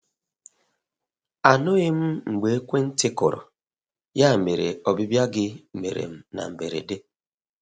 Anụghị m mgbe ekwe ntị kụrụ, ya mere ọbịbịa gị mere m na mgberede.